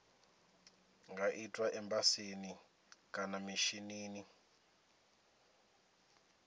nga itwa embasini kana mishinini